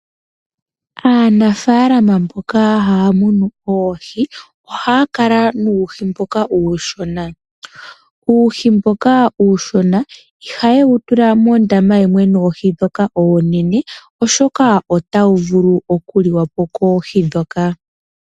Aanafalama mboka haya munu oohi ohaya kala nuuhi mboka uushona. Uuhi mboka uushona ihayewu tula mondama yimwe noohi dhoka oonene oshoka otawu vulu oku liwa po koohi dhoka.